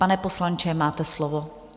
Pane poslanče, máte slovo.